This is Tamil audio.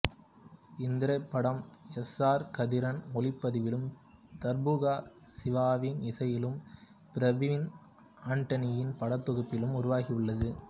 இத்திரைப்படம் எஸ் ஆர் கதிரின் ஒளிப்பதிவிலும் தர்புகா சிவாவின் இசையிலும் பிரவின் ஆண்டனியின் படத்தொகுப்பிலும் உருவாகியுள்ளது